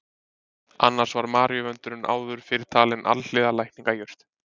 Annars var maríuvöndurinn áður fyrr talinn alhliða lækningajurt.